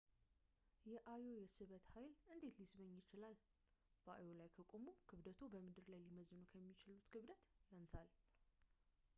የአዮ የስበት ኃይል እንዴት ሊስበኝ ይችላል በአዮ ላይ ከቆሙ ክብደትዎ በምድር ላይ ሊመዝኑ ከሚችሉት ክብደቱ ያንሳል